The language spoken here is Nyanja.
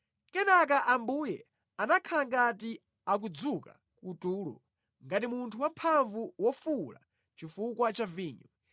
Kenaka Ambuye anakhala ngati akudzuka kutulo, ngati munthu wamphamvu wofuwula chifukwa cha vinyo.